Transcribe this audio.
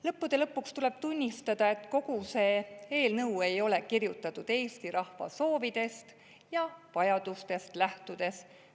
Lõppude lõpuks tuleb tunnistada, et kogu see eelnõu ei ole kirjutatud Eesti rahva soovidest ja vajadustest lähtudes.